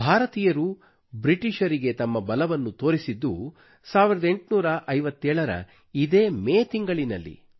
ಭಾರತೀಯರು ಬ್ರಿಟೀಷರಿಗೆ ತಮ್ಮ ಬಲವನ್ನು ತೋರಿಸಿದ್ದು 1857 ರ ಇದೇ ಮೇ ತಿಂಗಳಿನಲ್ಲಿ